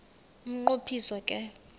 umnqo phiso ke